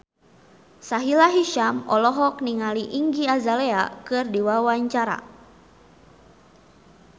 Sahila Hisyam olohok ningali Iggy Azalea keur diwawancara